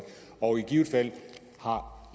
og i givet fald har